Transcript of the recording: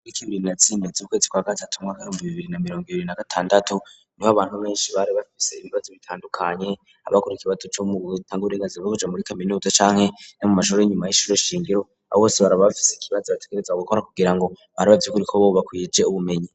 Itariki mirongo ibiri na zine z'ukwezi kwa gatatu mu mwaka w'ibihumbi bibiri na mirongo ibiri na gatandatu niho abantu benshi bari bafise ibibazo bitandukanye, abakora ikibazo co mu gutanga uburengazira bwo kuja muri kaminuza canke no mu mashure y'inyuma y'ishure shingiro, abo bose baba bafise ikibazo bategerezwa gukora kugira ngo barabe vy'ukuri ko boba bakwije ubumenyi.